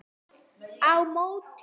Á móti